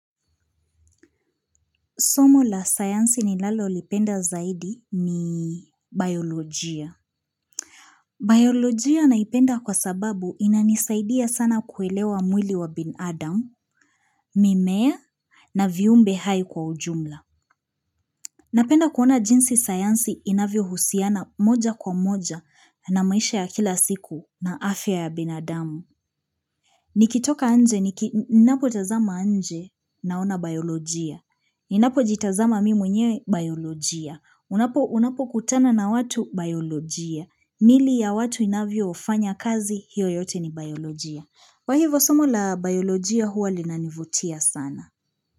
Somo la sayansi ninalolipenda zaidi ni bayolojia. Bayolojia naipenda kwa sababu inanisaidia sana kuelewa mwili wa binadamu, mimea na viumbe hai kwa ujumla. Napenda kuona jinsi sayansi inavyohusiana moja kwa moja na maisha ya kila siku na afya ya binadamu. Nikitoka nje, ninapotazama nje naona bayolojia. Ninapojitazama mimi mwenyewe bayolojia. Unapokutana na watu bayolojia miili ya watu inavyofanya kazi hiyo yote ni bayolojia kwa hivo somo la bayolojia huwa linanivutia sana.